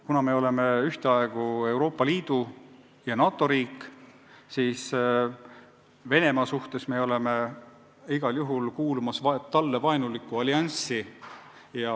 Kuna me oleme ühteaegu Euroopa Liidu ja NATO riik, siis Venemaa seisukohalt me kuulume igal juhul talle vaenulikku allianssi.